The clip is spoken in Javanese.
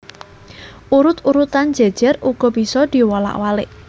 Urut urutan jejer uga bisa diwolak walik